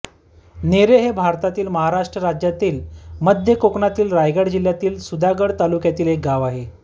नेरे हे भारतातील महाराष्ट्र राज्यातील मध्य कोकणातील रायगड जिल्ह्यातील सुधागड तालुक्यातील एक गाव आहे